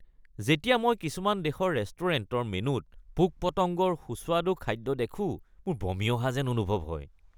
যেতিয়া মই কিছুমান দেশৰ ৰেষ্টুৰেণ্টৰ মেনুত পোক-পতংগৰ সুস্বাদু খাদ্য দেখোঁ, মোৰ বমি অহা যেন অনুভৱ হয়।